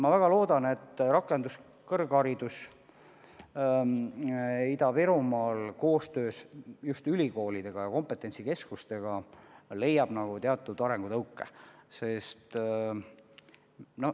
Ma väga loodan, et rakenduskõrgharidus Ida-Virumaal saab koostöös ülikoolide ja kompetentsikeskustega teatud arengutõuke.